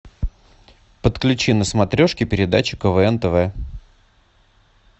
подключи на смотрешке передачу квн тв